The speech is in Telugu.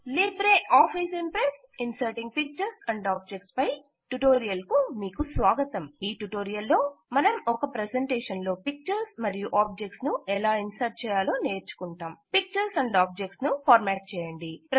Libre office Impress inserting pictures and objects పై ట్యుటోరియల్ కు స్వాగతం ఈ ట్యుటోరియల్ లో మనం ఒక ప్రెజెంటేషన్ లో పిక్చర్స్ మరియు ఆబ్జెక్త్స్ ను ఎలా ఇంసేర్ట్ చేయాలో నేర్చుకుంటాం పిక్చర్స్ అండ్ ఆబ్జెక్ట్స్ ను ఫార్మాట్ చేయండి